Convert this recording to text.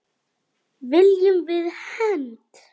Viljum við hefnd?